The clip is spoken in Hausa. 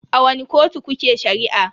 A wani kotu kuke Shari'a?